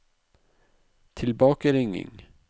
tilbakeringing